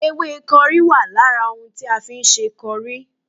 Ewé kọrí wà lára ohun tí a fi ń ṣe kọrí